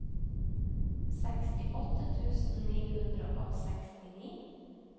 sekstiåtte tusen ni hundre og sekstini